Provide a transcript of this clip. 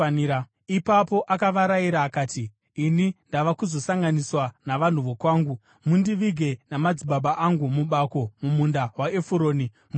Ipapo akavarayira akati, “Ini ndava kuzosanganiswa navanhu vokwangu. Mundivige namadzibaba angu mubako mumunda waEfuroni muHiti,